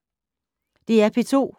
DR P2